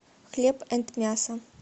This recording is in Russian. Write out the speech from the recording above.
хлеб энд мясо